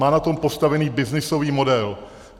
Má na tom postavený byznysový model.